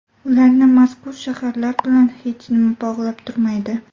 Ularni mazkur shaharlar bilan hech nima bog‘lab turmaydi.